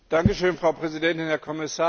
Frau Präsidentin, Herr Kommissar!